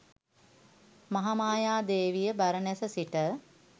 “මහාමායා දේවිය බරණැස සිට